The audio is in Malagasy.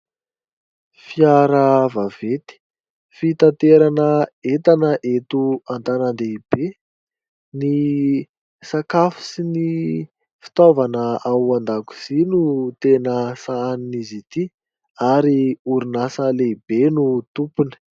Fiara vaventy, fitaterana entana eto an-tanàn-dehibe, ny sakafo sy ny fitaovana ao an-dakozia no tena sahanin'izy ity ary orinasa lehibe no tompony.